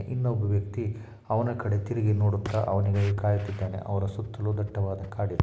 ಇನೂಬ್ಬ ವ್ಯಕ್ತಿ ಅವನ ಕಡೇ ತಿರುಗಿ ನೊಡುತ್ತಾ ಅವನಿಗಾಗಿ ಕಾಯುತಿದ್ದಾನೆ ಅವರ ಸುತ್ತಲೂ ದಟ್ವವಾದ ಕಾಡು ಇದೆ .